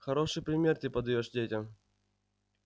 хороший пример ты подаёшь детям